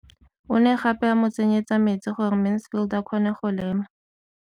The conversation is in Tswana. O ne gape a mo tsenyetsa metsi gore Mansfield a kgone go lema.